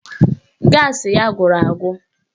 Gaasị ya gwụrụ agwụ